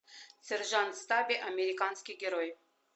сержант стаби американский герой